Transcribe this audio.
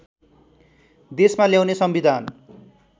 देशमा ल्याउने संविधान